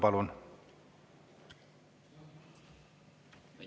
Palun!